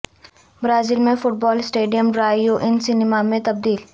Brazil میں football stadium drive in cinema میں تبدیل